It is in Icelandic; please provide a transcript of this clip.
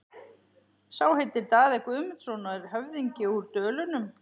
Sá heitir Daði Guðmundsson og er höfðingi úr Dölunum.